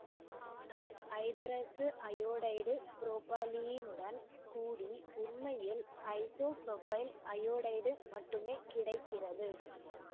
ஆனால் ஐதரசஅயோடைடு புரொபலீனுடன் கூடி உண்மையில் ஐசோபுரொபைல் அயோடைடு மட்டுமே கிடைக்கிறது